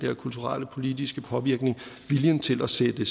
kulturelle politiske påvirkning viljen til at sætte